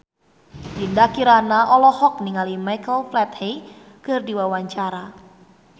Dinda Kirana olohok ningali Michael Flatley keur diwawancara